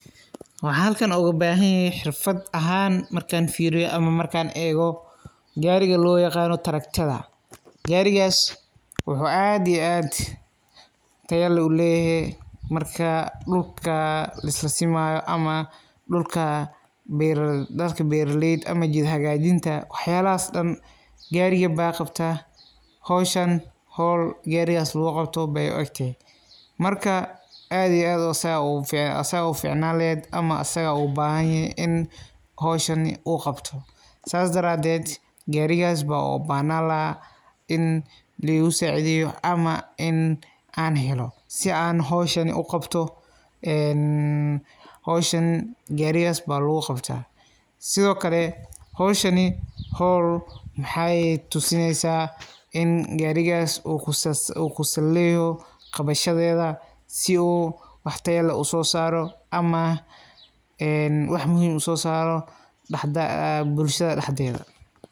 Waxan halkan ugabaahan yahay xirfad ahaan markan firiyo ama an eego gariga loyaqaano tractordha garigaas wuxu aad iyo aad tayo uleeyehe marka dulka lisasimayo ama dulka dadka beraleyda ama jid hagaajinta wax yalahas dan gariga baa qabta howsha howl garigas laguqabto ey uegtehe. Marka aad iyo aad asaga uguficanaan lehed ama saga ugubahan yehe in howshan uqabto saas daraaded garigas baan ubahnaan laxaa in ligusacidheyo ama in aan helo si aan howshan uqabto en howshan garigas baa laguqata. Sidhoo kale howshani howl maxay eheed tusineysa in u garigaas u kusal leyeho qabashadheedha si wax tayo leh usoosaro ama wax muhiim usosaaro bulshada daxdedha.